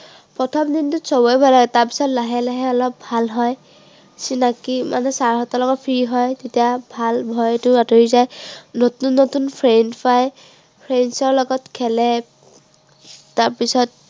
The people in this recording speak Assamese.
প্ৰথম দিনটোত সৱৰে ভয় লাগে। তাৰপিছত লাহে লাহে অলপ ভাল হয়। চিনাকি মানে sir হঁতৰ লগত free হয়। তেতিয়া ভাল, ভয়তো আঁতৰি যায়। নতুন নতুন friends পায়। friends ৰ লগত খেলে তাৰপিছত